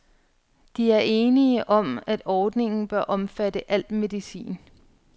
De er enige om, at ordningen bør omfatte al medicin.